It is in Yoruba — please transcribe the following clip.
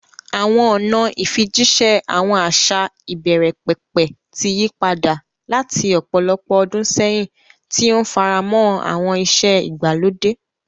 Àwọn ọ̀nà ìfijíṣẹ́ àwọn àṣà ìbẹ̀rẹ̀pẹ̀pẹ̀ ti yí padà láti ọ̀pọ̀lọpọ̀ ọdún sẹ́yìn, tí ó ń faramọ́ àwọn ìṣe ìgbàlódé.